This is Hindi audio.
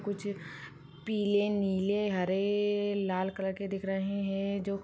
पिले नील हरे कलर के दिख रहे है जो --